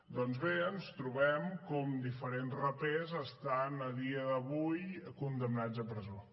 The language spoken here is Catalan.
doncs bé ens trobem com diferents rapers estan a dia d’avui condemnats a presó